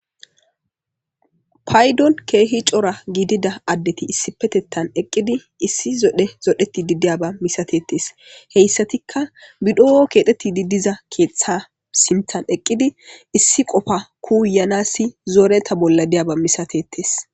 paydon keehi cora giidida addeti issipetettan eqqidi issi zodhe zodheti di diyaba misatettes heyssatikka bidho7o keexeti didiza keeththa simthan eqqidi issi qofa kuuyanassi zooreta bolla diyaba misatetes